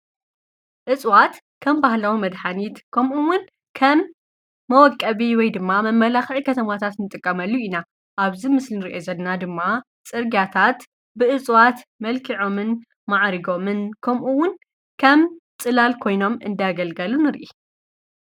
እጽዋት ከም ባህላዊ መድኃኒት ከምኡውን ከም መወቀቢ ወይ ድማ መመላኽዒ ኸተማታት ንጥቀመሉ ኢና ኣብዚ ምስልን ርየ ዘድና ድማ ጽርጋታት ብእፁዋት መልኪዖምን መዓሪጎምን ከምኡውን ከም ጽላል ኮይኖም እንዳኣገልገሉ ንርኢ